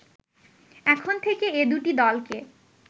এখন থেকে এ দুটি দলকে